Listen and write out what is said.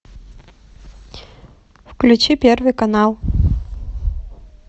включи первый канал